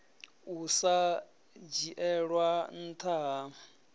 u sa dzhielwa ntha ha